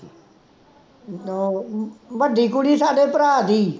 ਵੱਡੀ ਕੁੜੀ ਸਾਡੇ ਭਰਾ ਦੀ,